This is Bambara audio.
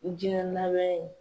Jiyɛn laban ye.